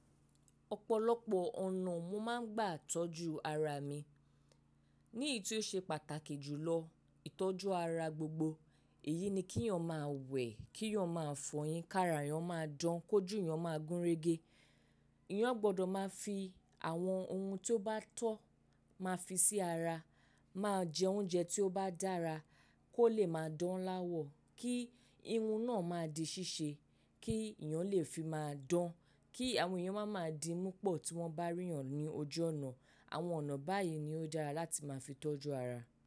Ọ̀pọ̀lọpọ̀ ọ̀nà mo máa ń gbà tọ́jú ara mi. Ní èyí tí ó ṣe pàtàkì jùlọ, ìtọ́jú ara gbogbo, èyí ni kí èèyàn máa wẹ̀, kí èèyàn máa fọyín, kí ara èèyàn máa dán, kó jù èèyàn máa gúnrégé. Ẹ̀yàn gbọdọ̀ máa fi àwọn ohun tí ó bá tọ́ máa fi sí ara, máa jẹ oúnjẹ tí ó bá dára kó lè máa dán láwọ̀, kí irun náà máa di ṣíṣe, kí ẹ̀yàn lè fi máa dán, kí àwọn èèyàn máa ma di múpọ̀ tí wọ́n bá rí èèyàn ní ojú ọ̀nà. Àwọn ọ̀nà báyìí ni ó dára láti máa fi tọ́jú ara.